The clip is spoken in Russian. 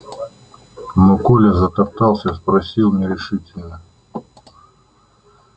но коля затоптался спросил нерешительно